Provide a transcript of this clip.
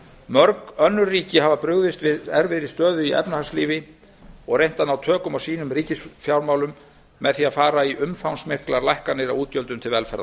mörg önnur ríki hafa brugðist við erfiðri stöðu í efnahagslífi og reynt að ná tökum á sínum ríkisfjármálum með því með að fara í umfangsmiklar lækkanir á útgjöldum til